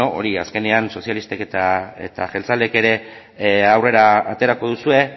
beno hori azkenean sozialistek eta jeltzaleek ere aurrera aterako duzue